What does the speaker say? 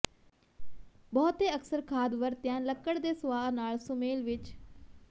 ਬਹੁਤੇ ਅਕਸਰ ਖਾਦ ਵਰਤਿਆ ਲੱਕੜ ਦੇ ਸੁਆਹ ਨਾਲ ਸੁਮੇਲ ਵਿੱਚ